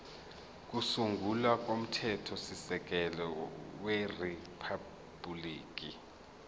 kokusungula komthethosisekelo weriphabhuliki